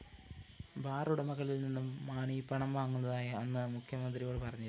ബാറുടമകളില്‍ നിന്നും മാണി പണം വാങ്ങുന്നതായി അന്ന് മുഖ്യമന്ത്രിയോട് പറഞ്ഞിരുന്നു